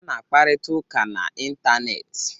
Ana akparita ụka na ịntanetị.